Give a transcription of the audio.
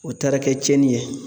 O taara kɛ tiɲɛni ye.